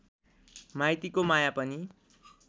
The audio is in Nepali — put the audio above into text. माइतीको माया पनि